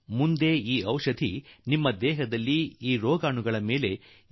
ಆದರೆ ಜೀವಾಣುಗಳು ಇಂತಹ ಔಷಧಿಗಳ ರುಚಿ ಕಂಡುಕೊಂಡು ಬಿಡುತ್ತವೆ